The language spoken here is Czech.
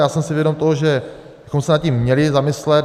Já jsem si vědom toho, že bychom se nad tím měli zamyslet.